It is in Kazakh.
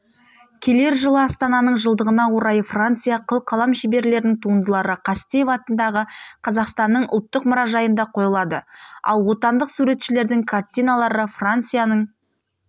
келер жылы астананың жылдығына орай франция қыл қалам шеберлерінің туындылары қастеев атындағы қазақстанның ұлттық мұражайында қойылады ал отандық суретшілердің картиналары францияның